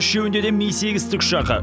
үшеуінде де ми сегіз тікұшағы